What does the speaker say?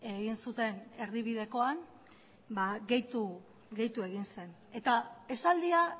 egin zuten erdibidekoan gehitu egin zen eta esaldia